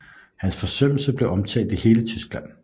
Hans forsømmelse blev omtalt i hele Tyskland